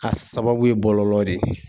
A sababu ye bɔlɔlɔ de ye.